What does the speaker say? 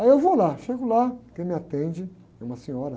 Aí eu vou lá, chego lá, quem me atende é uma senhora.